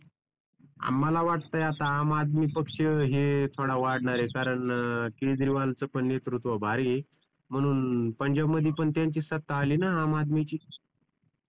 मला वाटतंय आता आम आदमी पक्ष हे थोडा वाढणार आहे कारण केजरीवाल च पण नेतृत्व भारी आहे म्हणून पंजाब मध्ये पण त्यांचीच सत्ता आली ना आम आदमीची